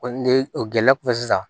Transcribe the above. O ni o gɛlɛya kɔfɛ sisan